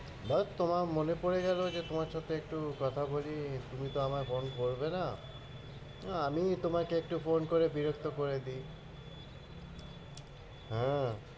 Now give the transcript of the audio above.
ব্যাস, তোমায় মনে পরে গেলো যে তোমার সাথে একটু কথা বলি, তুমি তো আমায় phone করবে না আহ আমিই তোমাকে একটু phone করে বিরক্ত করে দিই হ্যাঁ,